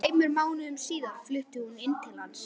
Tveimur mánuðum síðar flutti hún inn til hans.